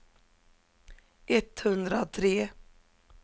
etthundratre